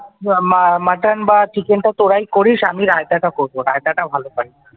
মা মা মাটন বা চিকেন তোরাই করিস আমি রায়তাটা করব রাইতাটা ভালো পারি ।